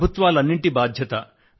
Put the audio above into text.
ప్రభుత్వాలన్నింటి బాధ్యత